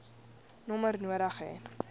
nommer nodig hê